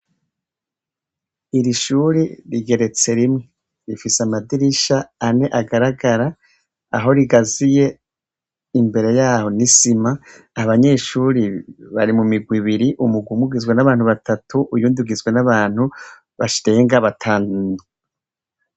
Iri shuri, rigeretse rimwe, rifise amadirisha ane agaragara, aho rigaziye, imbere y'aho n'isima. Abanyeshure bari mu mirwi ibiri, umugwi umwe ugizwe n'abantu batatu, uyundi ugizwe n'abantu batarenga batanu.